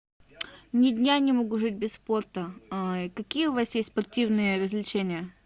ни дня не могу жить без спорта какие у вас есть спортивные развлечения